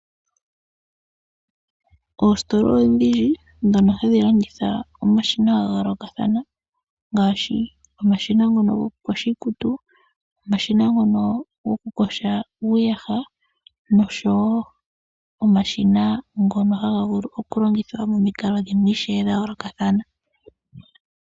Oositola odhindji ndhono hadhi landitha omashina ga yoolokathana ngaashi omashina ngono gokuyoga iikutu, omashina ngono gokuyoga uuyaha noshowo omashina ngono haga vulu oku longithwa momikalo dhimwe ishewe dha yoolokathana.